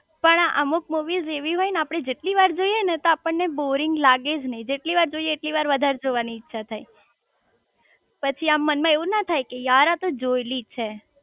પણ અમુક મુવીસ એવી હોય ને આપડે જેટલી વાર જોઈએ ને તો આપણ ને બોરિંગ લાગેજ નઈ જેટલી વાર જોઈએ એટલી વાર વધારે જોવાની ઈચ્છા થાય